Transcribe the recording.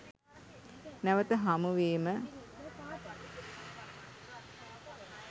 නැවත හමු වීම